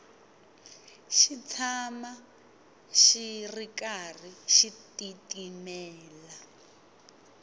xi tshama xi karhi xi titimela